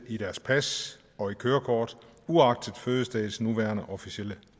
i deres pas og kørekort uagtet fødestedets nuværende officielle